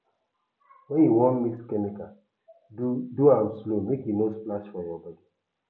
when you wan mix chemical do do am slow make e no splash for your body